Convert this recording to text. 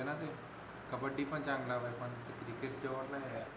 कबड्डी पण चांगल वाटत चांगल मला क्रिकेटच